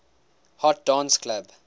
hot dance club